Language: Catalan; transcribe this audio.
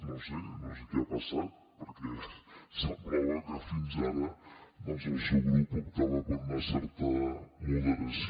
no ho sé no sé què ha passat perquè semblava que fins ara doncs el seu grup optava per una certa moderació